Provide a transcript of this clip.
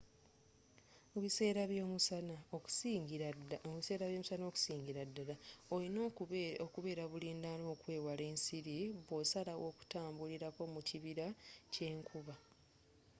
mu biseera by'omusana okusingira ddala olina okubeera bulindaala okwewala ensiri bwosalawo okutambulirako mu kibira kyenkuba